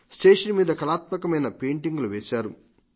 station మీద కళాత్మకమైన painting లు వేశారు